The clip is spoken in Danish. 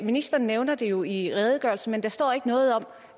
ministeren nævner det jo i redegørelsen men der står ikke noget om